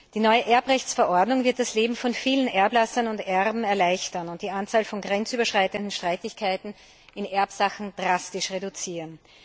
Die neue Erbrechtsverordnung wird das Leben von vielen Erblassern und Erben erleichtern und die Anzahl von grenzüberschreitenden Streitigkeiten in Erbsachen drastisch reduzieren.